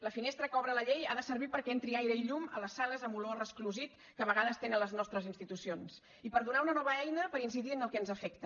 la finestra que obre la llei ha de servir perquè entrin aire i llum a les sales amb olor a resclosit que a vegades tenen les nostres institucions i per donar una nova eina per incidir en el que ens afecta